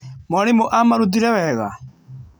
Mwarimũ aamarutire wega?